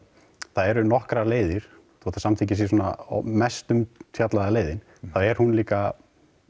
það eru nokkrar leiðir þó svo samþykkið sé svona mest umfjallaða leiðin þá er hún líka